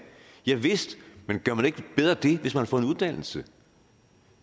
javist men gør man ikke bedre det hvis man har fået en uddannelse